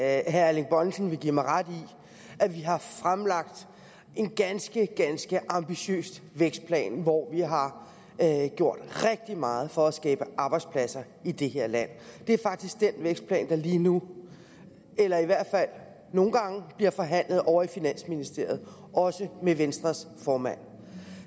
at herre erling bonnesen vil give mig ret i at vi har fremlagt en ganske ganske ambitiøs vækstplan hvor vi har gjort rigtig meget for at skabe arbejdspladser i det her land det er faktisk den vækstplan der lige nu eller i hvert fald nogle gange bliver forhandlet ovre i finansministeriet også med venstres formand